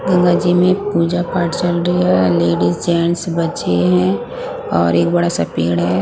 गंगा जी में पूजा पाठ चल रही है लेडीज जेंट्स बच्चे हैं और एक बड़ा सा पेड़ है ।